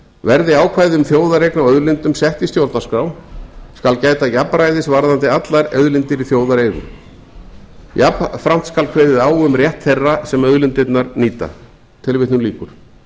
verði ákvæði um þjóðareign á auðlindum sett í stjórnarskrá skal gæta jafnræðis varðandi allar auðlindir í þjóðareigu jafnframt skal kveðið á um rétt þeirra sem auðlindirnar nýta tilvitnun lýkur